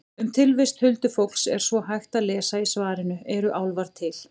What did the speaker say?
Um tilvist huldufólks er svo hægt að lesa í svarinu Eru álfar til?